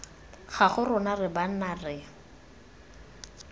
gago rona re banna re